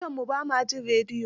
Dukanmu ba ma jin rediyo.